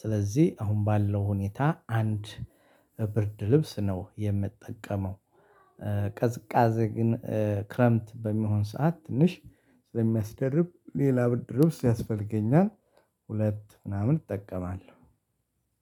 ስለዚህ አሁን ባለው ሁኔታ አንድ ብርድ ልብስ ነው የምጠቀመው። ግን ክረምት በሚሆን ሰዓት ትንሽ ስለሚያስደርብ ሌላ ብድር ልብስ ያስፈልገኛል። ሁለት ምናምን እጠቀማለሁ።